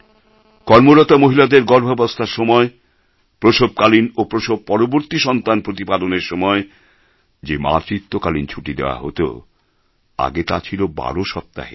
কর্মরতা মহিলাদের গর্ভাবস্থার সময় প্রসবকালীন ও প্রসব পরবর্তী সন্তান প্রতিপালনের সময় যে মাতৃত্বকালীন ছুটি দেওয়া হত আগে তা ছিল ১২ সপ্তাহের